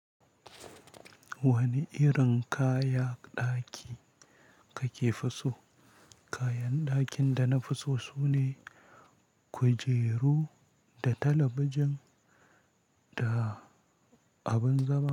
Wani irin kaya ɗaki kake so? Kayan ɗakin dana fi so sune kujeru da talabijin da abin zama.